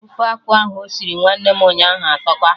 Ofe akụ ahụ osiri nwanne ụnyaahụ atọka